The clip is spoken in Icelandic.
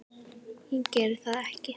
Ég geri það ekki.